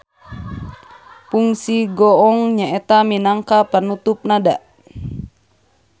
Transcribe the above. Pungsi goong nyaeta minangka panutup nada.